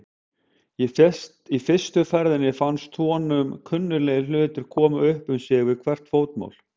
Í fyrstu ferðinni fannst honum kunnuglegir hlutir koma upp um sig við hvert fótmál.